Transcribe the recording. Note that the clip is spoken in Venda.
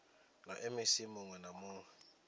na mec muwe na muwe